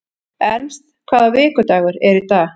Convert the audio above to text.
Ernst, hvaða vikudagur er í dag?